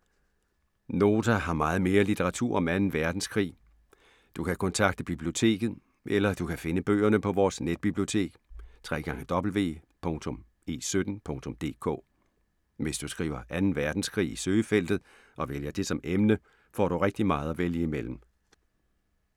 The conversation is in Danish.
Nota har meget mere litteratur om 2. Verdenskrig. Du kan kontakte biblioteket. Eller du kan finde bøgerne på vores netbibliotek www.e17.dk. Hvis du skriver 2. Verdenskrig i søgefeltet og vælger det som emne, får du rigtig meget at vælge imellem.